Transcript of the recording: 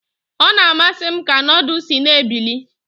Ọ na-amasị m ka nudu si na-ebili.